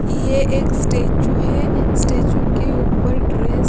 यह एक स्टैचू है स्टैचू के ऊपर ड्रेस .